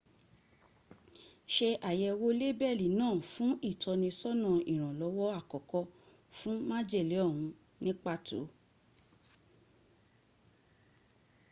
se àyẹ̀wò lébẹ̀lì náà fún ìtọ́nisọ́nà ìrànlọ́wọ́ àkọ́kọ́ fún májèlé ọ̀hún ní pàtó